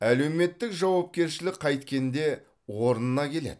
әлеуметтік жауапкершілік қайткенде орнына келеді